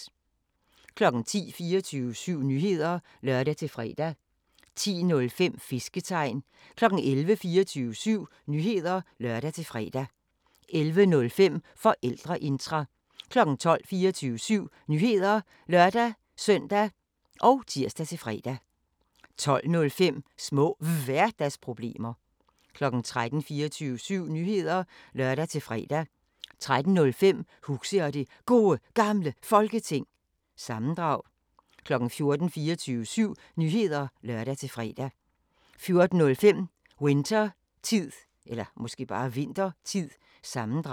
10:00: 24syv Nyheder (lør-fre) 10:05: Fisketegn 11:00: 24syv Nyheder (lør-fre) 11:05: Forældreintra 12:00: 24syv Nyheder (lør-søn og tir-fre) 12:05: Små Hverdagsproblemer 13:00: 24syv Nyheder (lør-fre) 13:05: Huxi og det Gode Gamle Folketing – sammendrag 14:00: 24syv Nyheder (lør-fre) 14:05: Winthertid – sammendrag